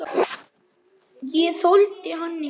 Ég þoldi hann ekki.